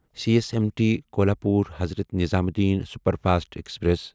C S M T Kolhapur Hazrat Nizamuddin superfast express